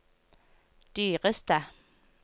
dyreste